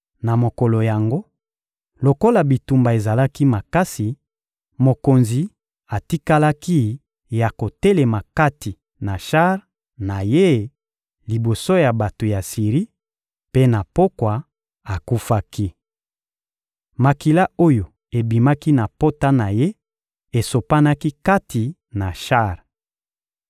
Na mokolo yango, lokola bitumba ezalaki makasi, mokonzi atikalaki ya kotelema kati na shar na ye liboso ya bato ya Siri; mpe na pokwa, akufaki. Makila oyo ebimaki na pota na ye esopanaki kati na shar.